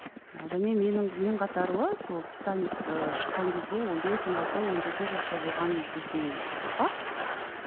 және менің мен қатарлы сол титаник ы шыққан кезде он бес он алты он жеті жаста болған біздің ұрпақ